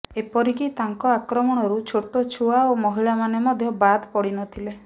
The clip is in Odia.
ଏପରିକି ତାଙ୍କ ଆକ୍ରମଣରୁ ଛୋଟ ଛୁଆ ଓ ମହିଳାମାନେ ମଧ୍ୟ ବାଦ ପଡି ନଥିଲେ